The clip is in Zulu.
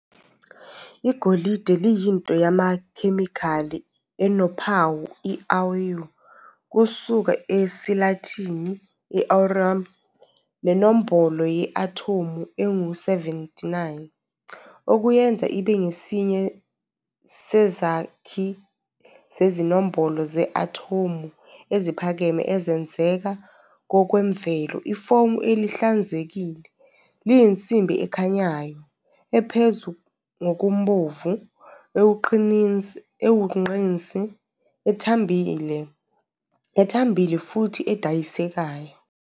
Igolide liyinto yamakhemikhali enophawu i-Au, kusuka esiLatini- i-aurum, nenombolo ye-athomu engu-79, okuyenza ibe ngesinye sezakhi zezinombolo ze-athomu eziphakeme ezenzeka ngokwemvelo. Ifomu elihlanzekile, liyinsimbi ekhanyayo, ephuzi ngokubomvu, ewugqinsi, ethambile, ethambile futhi edayisekayo.